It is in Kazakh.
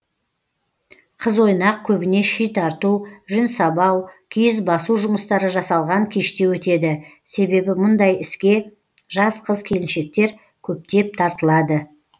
қыз ойнақ көбіне ши тарту жүн сабау киіз басу жұмыстары жасалған кеште өтеді себебі мұндай іске жас қыз келіншектер көптеп тартылады